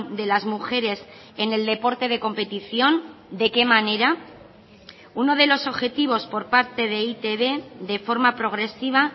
de las mujeres en el deporte de competición de qué manera uno de los objetivos por parte de e i te be de forma progresiva